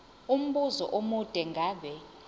umbuzo omude ngabe